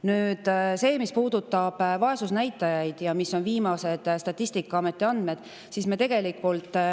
Nüüd see, mis puudutab vaesusnäitajaid ja Statistikaameti viimaseid andmeid selle kohta.